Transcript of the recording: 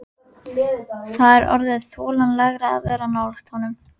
Það er orðið þolanlegra að vera nálægt honum.